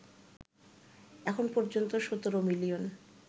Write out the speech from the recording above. এখন পর্যন্ত ১৭ মিলিয়ন